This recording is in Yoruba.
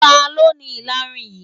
Talọ́ ni ìlarun yí?